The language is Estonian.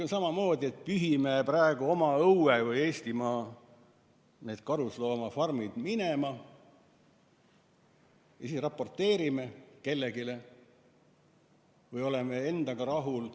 Samamoodi me praegu pühime oma õuelt ehk Eestimaalt karusloomafarmid minema, siis raporteerime kellelegi ja oleme endaga rahul.